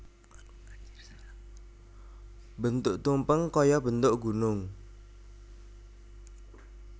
Bentuk tumpeng kaya bentuk gunung